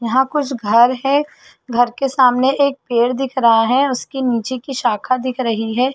यहाँ कुछ घर है घर के सामने एक पेड़ दिख रहा है उसके नीचे की शाखा दिख रही है।